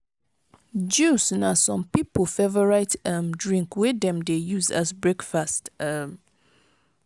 juice na some pipo favourite um drink wey dem dey use as breakfast um